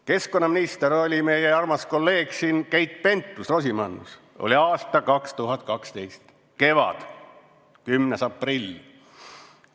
Keskkonnaminister oli meie armas kolleeg Keit Pentus-Rosimannus, oli aasta 2012 kevad, 10. aprill.